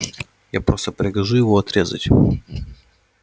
я просто прикажу его отрезать